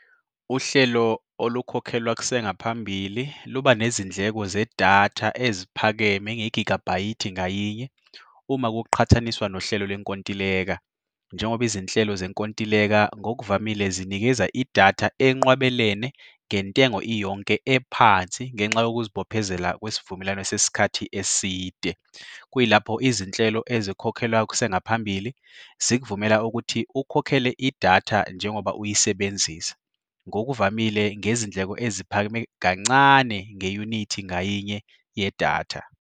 Uhlelo olukhokhelwa kusengaphambili luba nezindleko zedatha eziphakeme ngegigabhayithi ngayinye uma kuqhathaniswa nohlelo lenkontileka, njengoba izinhlelo zenkontileka ngokuvamile zinikeza idatha enqwabelene ngentengo iyonke ephansi ngenxa yokuzibophezela kwesivumelwano sesikhathi eside. Kuyilapho izinhlelo ezikhokhelwayo kusengaphambili zikuvumela ukuthi ukhokhele idatha njengoba uyisebenzisa ngokuvamile ngezindleko eziphakeme kancane ngeyunithi ngayinye yedatha.